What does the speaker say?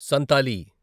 Santali